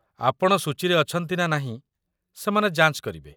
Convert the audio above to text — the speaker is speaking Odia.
ଆପଣ ସୂଚୀରେ ଅଛନ୍ତି ନା ନାହିଁ, ସେମାନେ ଯାଞ୍ଚ କରିବେ